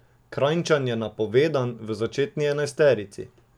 Kranjčan je napovedan v začetni enajsterici.